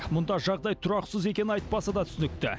мұнда жағдай тұрақсыз екені айтпаса да түсінікті